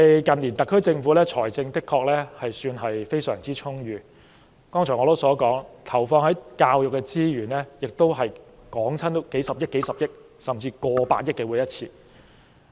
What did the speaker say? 近年特區政府的財政的確算是相當充裕，正如我剛才所說，投放在教育的資源，每每達到數十億元，甚至過百億元。